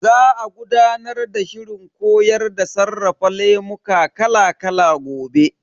Za a gudanar da shirin koyar da sarrafa lemuka kala kala gobe.